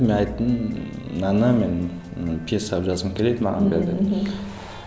мен айттым мынаны мен і пьеса қылып жазғым келеді маған бер деп мхм